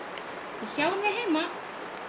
Við sjáum þig heima.